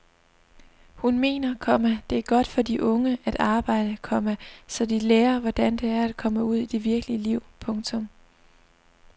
Hun mener, komma det er godt for de unge at arbejde, komma så de lærer hvordan det er at komme ud i det virkelige liv. punktum